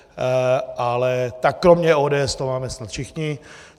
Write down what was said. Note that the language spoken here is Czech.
Ale tak kromě ODS to máme snad všichni.